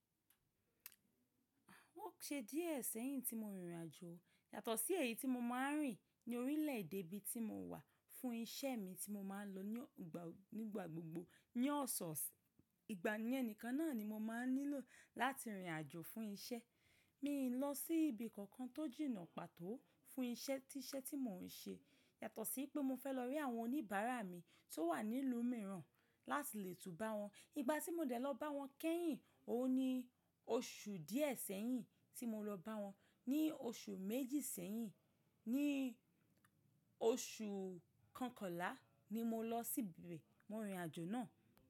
Ó ṣe díẹ̀ sẹ́yìn tí mo rìn rìnàjò yàtọ̀ sí èyí tí mo máa ń rìn ní orílẹ̀ èdè ibi tí mo wà fún iṣẹ́ mi tí mo máa ń lọ ni ogba o, nígbà gbogbo ní ọ̀sọ̀ọ̀s. Ìgbà ni ẹnìkan náà ni mo máa ń nílò láti rìnrìn àjò fún iṣẹ́. Mi i lọ sí ibi kankan tó jìnnà pàtó fún iṣẹ́ tíṣẹ́ tí mò ń ṣe yàtọ̀ sí pé mo fẹ́ lọ rí àwọn oníbàárà mi tó wà nílú mìíràn láti lè tún bá wọn. Ìgbà tí mo dẹ̀ lọ bá wọn kẹ́yìn, òun ni oṣù díẹ̀ sẹ́yìn tí mo lọ bá wọn. Ni oṣù méjì sẹ́yìn, ní oṣù kànkànlá ni mo lọ síbe mo rìn rìnàjò náà.